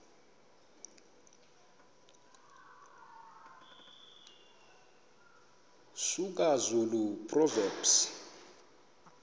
soga zulu proverbs